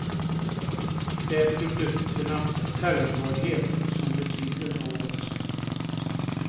Det är produkternas säljbarhet som betyder något.